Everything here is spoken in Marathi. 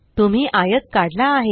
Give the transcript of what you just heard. तुम्ही आयत काढला आहे